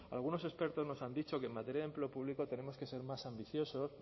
algunos expertos nos han dicho que en materia de empleo público tenemos que ser más ambiciosos